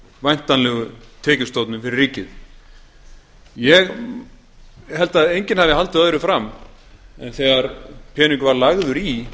væntanlegu tekjustofnum fyrir ríkið ég held að enginn hafi haldið öðru fram þegar peningur var lagður í